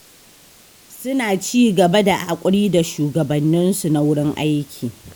Suna ci gaba da haƙuri da shugabanninsu na wurin aiki.